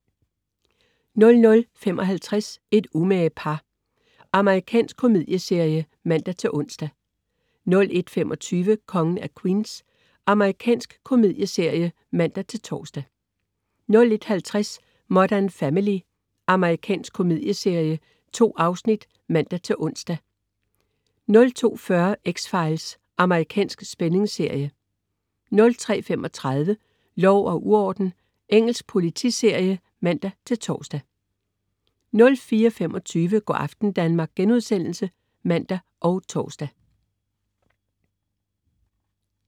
00.55 Et umage par. Amerikansk komedieserie (man-ons) 01.25 Kongen af Queens. Amerikansk komedieserie (man-tors) 01.50 Modern Family. Amerikansk komedieserie. 2 afsnit (man-ons) 02.40 X-Files. Amerikansk spændingsserie 03.35 Lov og uorden. Engelsk politiserie (man-tors) 04.25 Go' aften Danmark* (man og tors)